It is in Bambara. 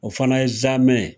O fana ye zamɛ ye